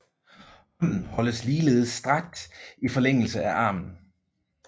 Hånden holdes ligeledes strakt i forlængelse af armen